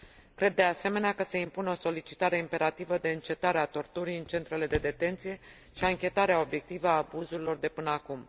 Cred, de asemenea, că se impune o solicitare imperativă de încetare a torturii în centrele de detenție și anchetarea obiectivă a abuzurilor de până acum.